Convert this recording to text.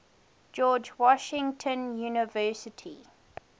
george washington university